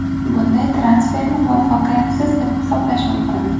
Bunday transferni muvaffaqiyatsiz deb hisoblash mumkin.